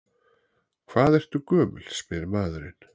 Hvað ertu gömul, spyr maðurinn.